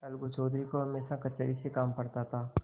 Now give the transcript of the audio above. अलगू चौधरी को हमेशा कचहरी से काम पड़ता था